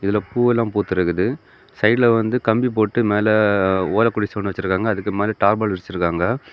இதுல பூவெல்லாம் பூத்திருக்கு சைட்ல வந்து கம்பி போட்டு மேல ஒல குடிச ஒண்ணு வெச்சிருக்காங்க அதுக்கு மேல டாபல் விரிச்சிருக்காங்க.